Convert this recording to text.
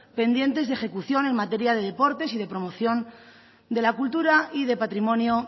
pendientes de ejecución en materia de deportes y de promoción de la cultura y de patrimonio